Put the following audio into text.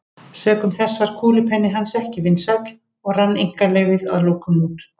Sökum þess varð kúlupenni hans ekki vinsæll og rann einkaleyfið að lokum út.